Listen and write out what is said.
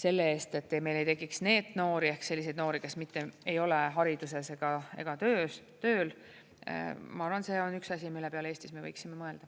selle eest, et ei tekiks NEET-noori ehk selliseid noori, kes mitte ei ole hariduses ega tööl – ma arvan, et see on üks asi, mille peale Eestis me võiksime mõelda.